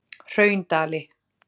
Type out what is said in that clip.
Hraundali